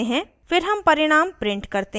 फिर हम परिणाम print करते हैं